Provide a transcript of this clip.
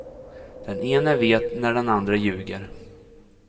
Den ene vet när den andre ljuger.